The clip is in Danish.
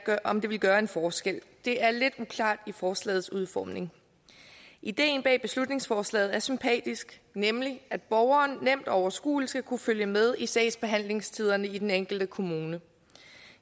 om det vil gøre en forskel det er lidt uklart i forslagets udformning ideen bag beslutningsforslaget er sympatisk nemlig at borgeren nemt og overskueligt skal kunne følge med i sagsbehandlingstiderne i den enkelte kommune